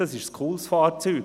Das ist ein cooles Fahrzeug.